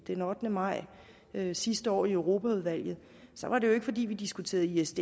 den ottende maj sidste år i europaudvalget var det jo ikke fordi vi diskuterede isds